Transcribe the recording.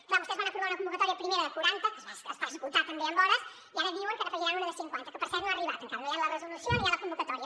clar vostès van aprovar una convocatòria primera de quaranta que es va esgotar també en hores i ara diuen que n’hi afegiran una de cinquanta que per cert no ha arribat encara no hi ha la resolució ni hi ha la convocatòria